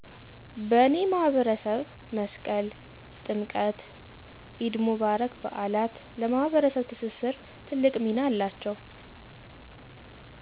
" በኔ ማህበረሰብ መስቀል፣ ጥምቀት፣ ኢድ ሙባረክ በዓላት ለማህበረሰብ ትስስር ትልቅ ሚና አላቸዉ።"